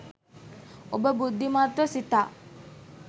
ඔබ බුද්ධිමත්ව සිතා